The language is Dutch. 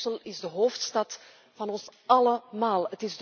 Brussel is de hoofdstad van ons allemaal.